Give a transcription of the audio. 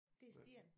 Det er sten